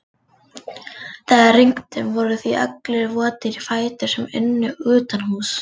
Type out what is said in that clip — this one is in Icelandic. Þegar rigndi voru því allir votir í fætur sem unnu utanhúss.